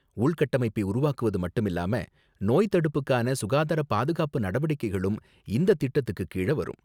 உள்கட்டமைப்பை உருவாக்குவது மட்டுமில்லாம, நோய்த்தடுப்புக்கான சுகாதாரப் பாதுகாப்பு நடவடிக்கைகளும் இந்தத் திட்டத்துக்கு கீழ வரும்.